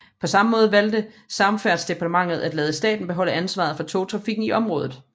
På samme måde valgte Samferdselsdepartementet at lade staten beholde ansvaret for togtrafikken i området